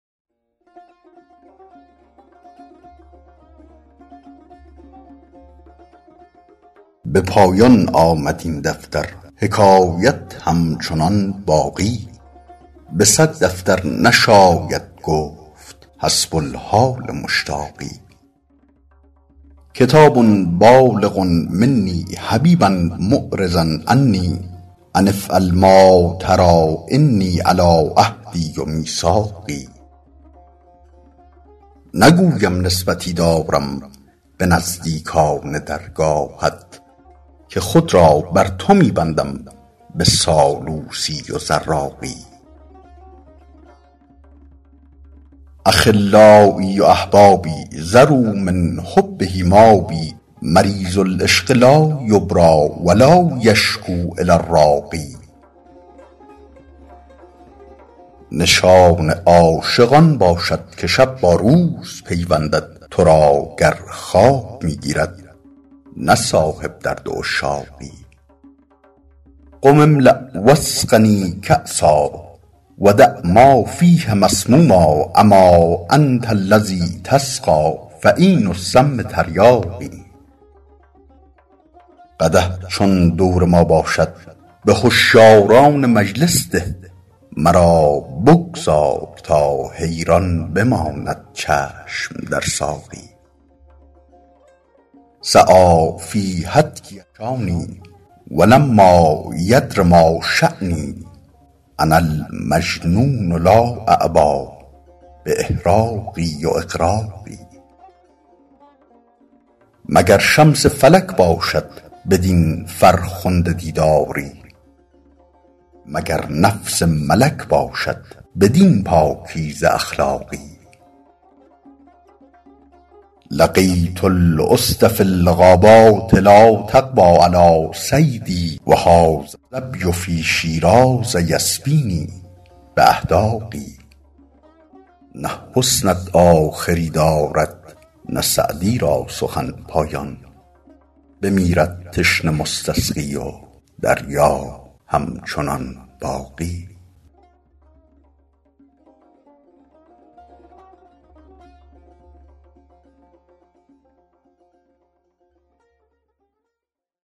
به پایان آمد این دفتر حکایت همچنان باقی به صد دفتر نشاید گفت حسب الحال مشتاقی کتاب بالغ منی حبیبا معرضا عنی أن افعل ما تری إني علی عهدی و میثاقی نگویم نسبتی دارم به نزدیکان درگاهت که خود را بر تو می بندم به سالوسی و زراقی أخلایی و أحبابی ذروا من حبه مابی مریض العشق لا یبری و لا یشکو إلی الراقی نشان عاشق آن باشد که شب با روز پیوندد تو را گر خواب می گیرد نه صاحب درد عشاقی قم املأ و اسقنی کأسا و دع ما فیه مسموما أما أنت الذی تسقی فعین السم تریاقی قدح چون دور ما باشد به هشیاران مجلس ده مرا بگذار تا حیران بماند چشم در ساقی سعی فی هتکی الشانی و لما یدر ما شانی أنا المجنون لا أعبا بإحراق و إغراق مگر شمس فلک باشد بدین فرخنده دیداری مگر نفس ملک باشد بدین پاکیزه اخلاقی لقیت الأسد فی الغابات لا تقوی علی صیدی و هذا الظبی فی شیراز یسبینی بأحداق نه حسنت آخری دارد نه سعدی را سخن پایان بمیرد تشنه مستسقی و دریا همچنان باقی